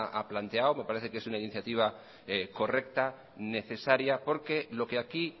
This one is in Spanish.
ha planteado me parece que es una iniciativa correcta y necesaria porque lo que aquí